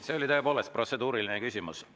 See oli tõepoolest protseduuriline küsimus.